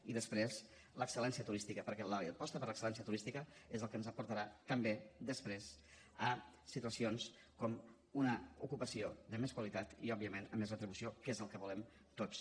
i després l’excel·lència turística perquè l’aposta per l’excel·lència turística és el que ens portarà també després a situacions com una ocupació de més qualitat i òbviament amb més retribució que és el que volem tots